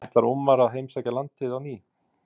En ætlar Ómar að heimsækja landið á ný?